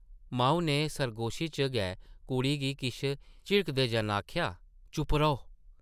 माऊ नै सरगोशी च गै कुड़ी गी किश झिड़कदे जन आखेआ, ‘‘चुप्प रौह् ।’’